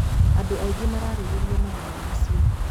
Andũ aingĩ mararĩrĩria mahenya macio.